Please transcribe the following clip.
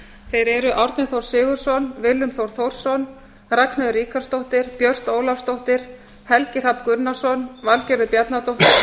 þeir eru árni þór sigurðsson willum þór þórsson ragnheiður ríkharðsdóttir björt ólafsdóttir helgi hrafn gunnarsson valgerður bjarnadóttir